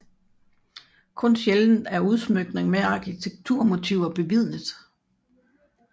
Kun sjældent er udsmykninger med arkitekturmotiver bevidnet